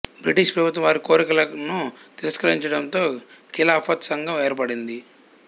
British ప్రభుత్వం వారి కోరికలను తిరస్కరించడంతో ఖిలాఫత్ సంఘం ఏర్పడింది